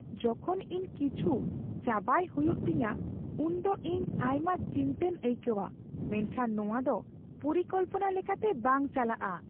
ᱡᱚᱠᱷᱚᱱ ᱤᱧ ᱠᱤᱪᱷᱩ ᱪᱟᱵᱟᱭ ᱦᱩᱭᱩᱜ ᱛᱤᱧᱟᱹ ᱩᱱᱫᱚ ᱤᱧ ᱟᱭᱢᱟ ᱪᱤᱱᱛᱟᱹᱧ ᱟᱭᱠᱟᱹᱣᱟ ᱢᱮᱱᱠᱷᱟᱱ ᱱᱚᱶᱟ ᱫᱚ ᱯᱚᱨᱤᱠᱚᱞᱯᱚᱱᱟ ᱞᱮᱠᱟᱛᱮ ᱵᱟᱝ ᱪᱟᱞᱟᱜᱼᱟ ᱾